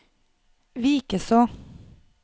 Vikeså